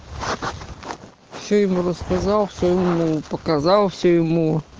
все ему рассказал что ему показал все ему